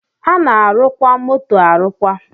A na-arụkwa moto arụkwa